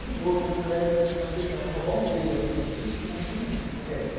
Mudou, então naquela época, para roubar um beijo era um sacrifício, imagina o resto.